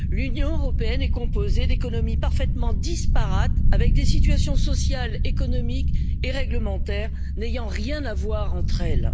L'Union européenne est composée d'économies parfaitement disparates, avec des situations sociales, économiques et réglementaires n'ayant rien à voir entre elles.